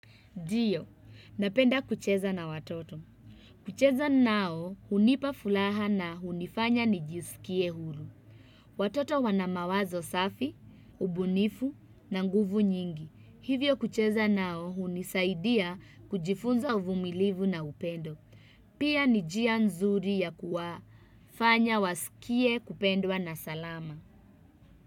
Ndio, napenda kucheza na watoto. Kucheza nao hunipa furaha na hunifanya nijisikie huru. Watoto wanamawazo safi, ubunifu na nguvu nyingi. Hivyo kucheza nao hunisaidia kujifunza uvumilivu na upendo. Pia ni njia nzuri ya kuwafanya wasikie kupendwa na salama.